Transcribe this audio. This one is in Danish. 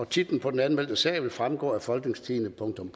titlen på den anmeldte sag vil fremgå af folketingstidende